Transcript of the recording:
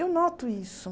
Eu noto isso.